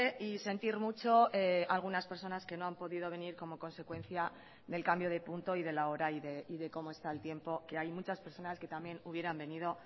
y sentir mucho algunas personas que no han podido venir como consecuencia del cambio de punto y de la hora y de cómo está el tiempo que hay muchas personas que también hubieran venido